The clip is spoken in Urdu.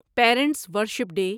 parents worship day